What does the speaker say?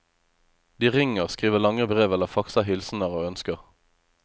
De ringer, skriver lange brev eller faxer hilsener og ønsker.